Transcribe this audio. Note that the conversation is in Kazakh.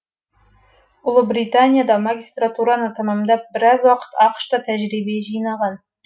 ұлыбританияда магистратураны тәмәмдап біраз уақыт ақш та тәжірибе жинаған